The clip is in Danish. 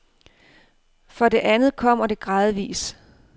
For det andet kommer det gradvis.